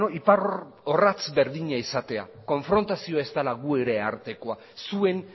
iparorratz berdina izatea konfrontazioa ez dela gure artekoa zuen